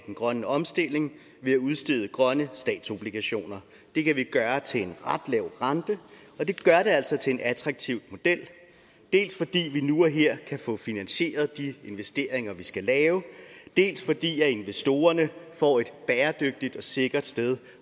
den grønne omstilling ved at udstede grønne statsobligationer det kan vi gøre til en ret lav rente og det gør det altså til en attraktiv model dels fordi vi nu og her kan få finansieret de investeringer vi skal lave dels fordi investorerne får et bæredygtigt og sikkert sted